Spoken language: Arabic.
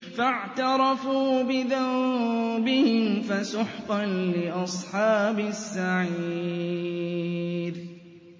فَاعْتَرَفُوا بِذَنبِهِمْ فَسُحْقًا لِّأَصْحَابِ السَّعِيرِ